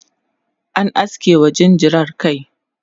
an aske wa jinjirar kai